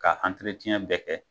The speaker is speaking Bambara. K'a bɛɛ kɛ